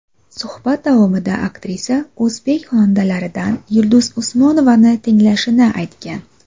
Suhbat davomida aktrisa o‘zbek xonandalaridan Yulduz Usmonovani tinglashini aytgan.